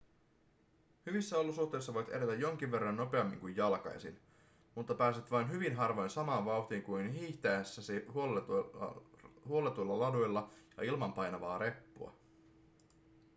hyvissä olosuhteissa voit edetä jonkin verran nopeammin kuin jalkaisin mutta pääset vain hyvin harvoin samaan vauhtiin kuin hiihtäessäsi huolletuilla laduilla ja ilman painavaa reppua